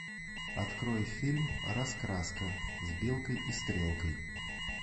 открой фильм раскраска с белкой и стрелкой